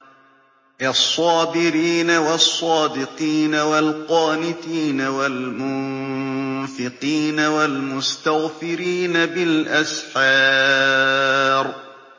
الصَّابِرِينَ وَالصَّادِقِينَ وَالْقَانِتِينَ وَالْمُنفِقِينَ وَالْمُسْتَغْفِرِينَ بِالْأَسْحَارِ